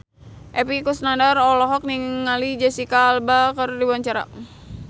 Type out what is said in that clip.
Epy Kusnandar olohok ningali Jesicca Alba keur diwawancara